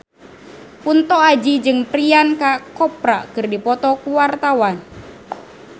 Kunto Aji jeung Priyanka Chopra keur dipoto ku wartawan